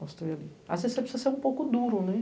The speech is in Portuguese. As você precisa ser um pouco duro, né?